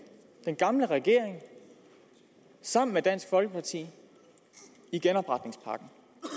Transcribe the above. den gamle regering sammen med dansk folkeparti i genopretningspakken